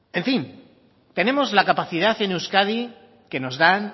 en fin tenemos la capacidad en euskadi que nos da